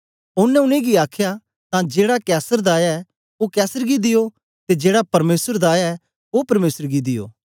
ओनें उनेंगी आखया तां जेड़ा कैसर दा ऐ ओ कैसर गी दियो ते जेड़ा परमेसर दा ऐ ओ परमेसर गी दियो